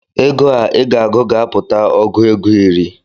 Ego a ịga agụ ga-apụta ọgụ ego iri